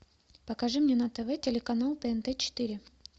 покажи мне на тв телеканал тнт четыре